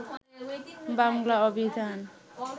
বাংলা অভিধান